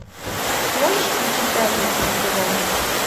сможешь включить пятницу на тв